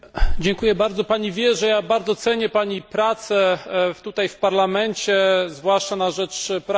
Pani wie, że bardzo cenię Pani pracę w Parlamencie, zwłaszcza na rzecz praw człowieka.